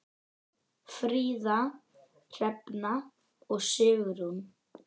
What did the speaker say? Fríða, Hrefna og Sigrún.